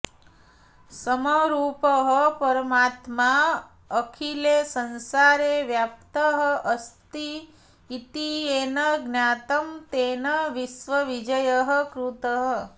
समरूपः परमात्मा अखिले संसारे व्याप्तः अस्ति इति येन ज्ञातं तेन विश्वविजयः कृतः